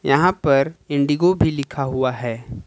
यहां पर इंडिगो भी लिखा हुआ है।